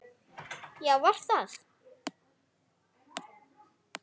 Já, var það?